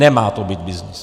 Nemá to být byznys.